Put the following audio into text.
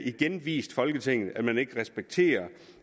igen vist folketinget at man ikke respekterer